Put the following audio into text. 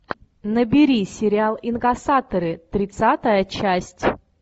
набери сериал инкассаторы тридцатая часть